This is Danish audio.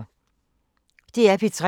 DR P3